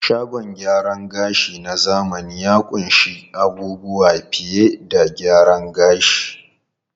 Shagon gyaran gashi na zamani ya ƙunshi abubuwa fiye da gyaran gashi.